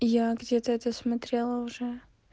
я где-то это смотрела уже